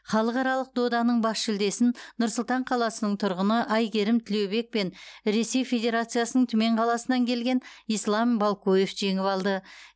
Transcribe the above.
халықаралық доданың бас жүлдесін нұр сұлтан қаласының тұрғыны әйгерім тілеубек пен ресей федерациясының түмен қаласынан келген ислам балкоев жеңіп алды